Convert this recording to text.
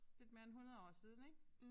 Lidt mere end 100 år siden ik